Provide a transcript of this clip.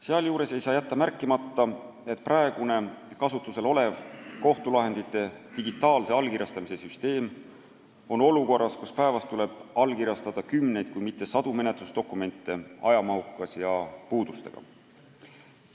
Sealjuures ei saa jätta märkimata, et praegune kasutusel olev kohtulahendite digitaalse allkirjastamise süsteem on olukorras, kus päevas tuleb allkirjastada kümneid, kui mitte sadu menetlusdokumente, ajamahukas ja muude puudustega.